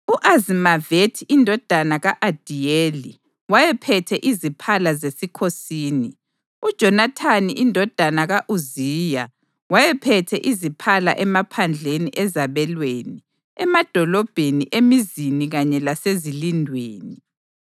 U-Azimavethi indodana ka-Adiyeli wayephethe iziphala zesikhosini. UJonathani indodana ka-Uziya wayephethe iziphala emaphandleni ezabelweni, emadolobheni, emizini kanye lasezilindweni.